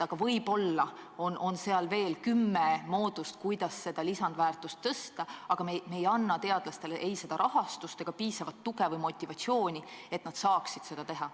Võib-olla on veel kümme moodust, kuidas lisandväärtust suurendada, aga me ei anna teadlastele ei rahastust ega piisavat tuge või motivatsiooni, et nad saaksid seda teha.